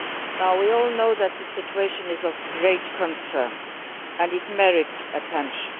Now we all know that the situation is of great concern and it merits attention.